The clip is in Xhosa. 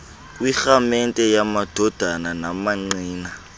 kwirhaamente yamadodana namaqina